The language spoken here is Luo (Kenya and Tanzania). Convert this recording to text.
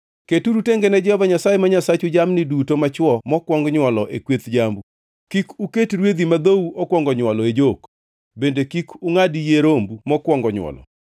Keturu tenge ne Jehova Nyasaye ma Nyasachu jamni duto machwo mokwong nywolo e kweth jambu. Kik uket rwedhi ma dhou okwongo nywolo e jok bende kik ungʼad yie rombu mokwong nywolo.